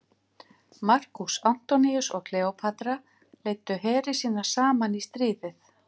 Markús Antoníus og Kleópatra leiddu heri sína saman í stríðið.